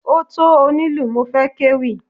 Ó tó onílù mo fẹ́ kéwì.